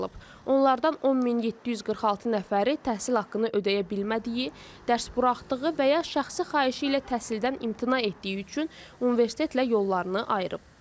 Onlardan 10746 nəfəri təhsil haqqını ödəyə bilmədiyi, dərs buraxdığı və ya şəxsi xahişi ilə təhsildən imtina etdiyi üçün universitetlə yollarını ayırıb.